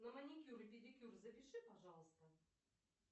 на маникюр и педикюр запиши пожалуйста